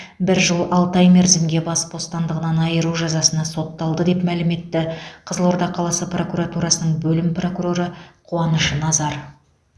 бір жыл алты ай мерзімге бас бостандығынан айыру жазасына сотталды деп мәлім етті қызылорда қаласы прокуратурасының бөлім прокуроры қуаныш назар